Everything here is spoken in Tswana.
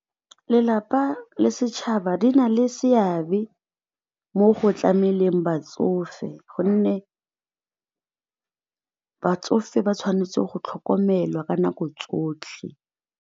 Lelapa le setšhaba di na le seabe mo go tlameleng batsofe gonne batsofe ba tshwanetse go tlhokomelwa ka nako tsotlhe.